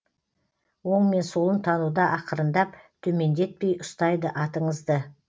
оң мен солын тануда ақырындап төмендетпей ұстайды атыңызды